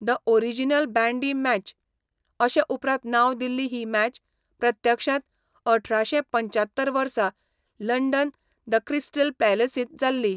The original bandy match, अशें उपरांत नांव दिल्ली ही मॅच, प्रत्यक्षांत अठराशे पंच्यात्तर वर्सा लंडन द क्रिस्टल पॅलसींत जाल्ली.